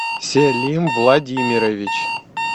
селим владимирович